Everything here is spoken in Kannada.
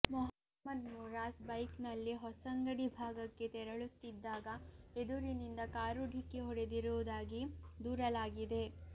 ಮೊಹಮ್ಮದ್ ಮುರಾಸ್ ಬೈಕ್ನಲ್ಲಿ ಹೊಸಂಗಡಿ ಭಾಗಕ್ಕೆ ತೆರಳುತ್ತಿದ್ದಾಗ ಎದುರಿನಿಂದ ಕಾರು ಢಿಕ್ಕಿ ಹೊಡೆದಿರುವುದಾಗಿ ದೂರಲಾಗಿದೆ